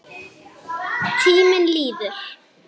Tíminn líður.